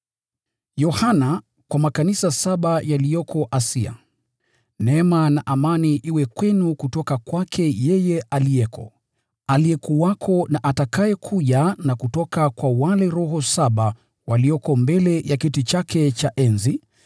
Yohana, kwa makanisa saba yaliyoko Asia: Neema na amani iwe kwenu kutoka kwake aliyeko, aliyekuwako na atakayekuja, na kutoka kwa wale roho saba walioko mbele ya kiti chake cha enzi,